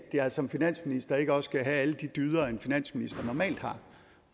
jeg som finansminister ikke også kan have de dyder en finansminister normalt har